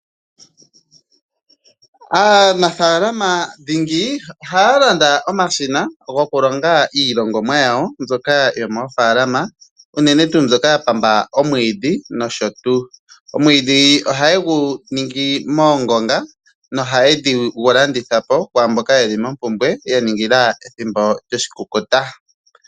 Aanafaalama dhingi ohaya landa omashina gokulonga iilongomwa yawo mbyoka yo moofalama unene tuu mbyoka ya pamba omwiidhi nosho tuu . Omwiidhi ohaye gu ningi moongonga no haye gu landithapo kwaamboka yeli momagumbo yaningila ethimbo lyoshikukuta.